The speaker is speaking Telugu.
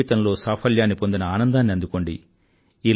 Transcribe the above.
జీవితంలో సాఫల్యాన్ని పొందిన ఆనందాన్ని అందుకోండి